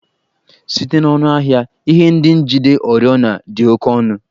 Site n'ọnụ ahịa, ihe ndị njide oriọna dị oke ọnụ